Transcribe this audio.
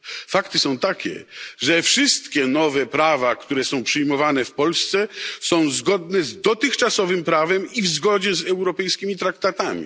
Fakty są takie, że wszystkie nowe prawa, które są przyjmowane w Polsce, są zgodne z dotychczasowym prawem i z europejskimi traktatami.